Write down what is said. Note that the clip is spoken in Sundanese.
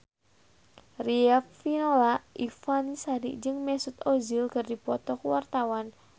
Riafinola Ifani Sari jeung Mesut Ozil keur dipoto ku wartawan